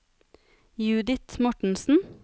Judith Mortensen